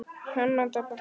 Þinn sonur Einar.